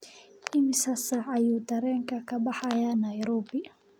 imisa saac ayuu tareenku ka baxaa nairobi